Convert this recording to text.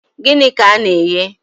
Gịnị ka ị na-eghe?